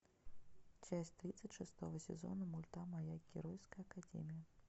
часть тридцать шестого сезона мульта моя геройская академия